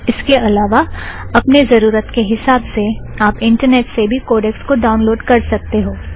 इसके अलावा अपने ज़रुरत के हिसाब से आप इंटरनेट से भी कोड़ेकस को ड़ाउनलोड़ कर सकते हो